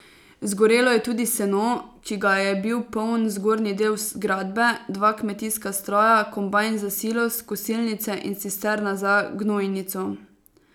Zgorelo je tudi seno, ki ga je bil poln zgornji del zgradbe, dva kmetijska stroja, kombajn za silos, kosilnice in cisterna za gnojnico.